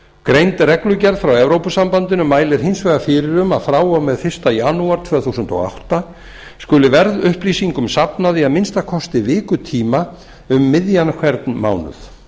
greind reglugerð frá e s b mælir hins vegar fyrir um að frá og með fyrsta janúar tvö þúsund og átta skuli verðupplýsingum safnað í að minnsta kosti vikutíma um miðjan hvern mánuð